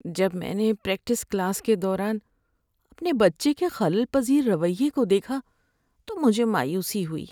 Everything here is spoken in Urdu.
جب میں نے پریکٹس کلاس کے دوران اپنے بچے کے خلل پذیر رویے کو دیکھا تو مجھے مایوسی ہوئی۔